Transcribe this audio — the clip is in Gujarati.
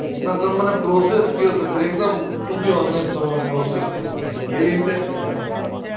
ના તમે મને process કયો એકદમ to be honest તમે process કયો મને કે કેવી રીતે